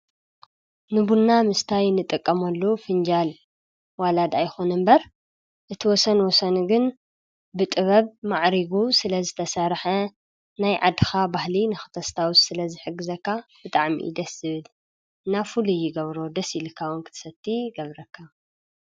ንቡና ምስታይ ንጥቀመሉ ፍንጃል ዋላ ድኣ ይኹን እምበር እቲ ወሰን ወሰኑ ግን ብጥበብ ማዕሪጉ ስለ ዝተሰርሐ ናይ ዓድኻ ባህሊ ንኽተስታውስ ስለዝሕግዘካ ብጣዕሚ ደስ ዝብል እና ፍሉይ ይገብሮ ደስ ኢልካ ንክትሰቲ እዉን ይገብረካ።